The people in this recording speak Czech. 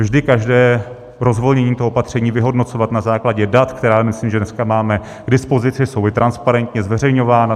Vždy každé rozvolnění toho opatření vyhodnocovat na základě dat, která myslím, že dneska máme k dispozici, jsou i transparentně zveřejňována.